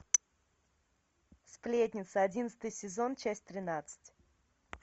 сплетница одиннадцатый сезон часть тринадцать